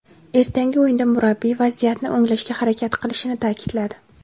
Ertangi o‘yinda murabbiy vaziyatni o‘nglashga harakat qilishini ta’kidladi.